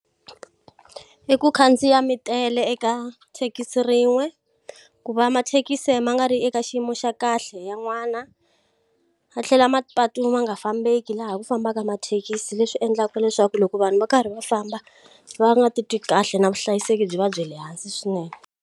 I ku khandziya mi tele eka thekisi rin'we, ku va mathekisi ma nga ri eka xiyimo xa kahle ya n'wana. Ya tlhela mapatu ma nga fambeki laha ku fambaka mathekisi, leswi endlaka leswaku loko vanhu va karhi va famba va nga titwi kahle na vuhlayiseki byi va bya le hansi swinene.